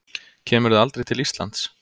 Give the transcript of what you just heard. Kemurðu aldrei til Íslands?